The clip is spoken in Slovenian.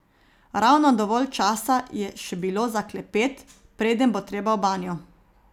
Ravno dovolj časa je še bilo za klepet, preden bo treba v banjo.